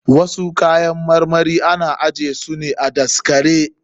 Wasu kayan marmarin ana ajje su ne a daskare.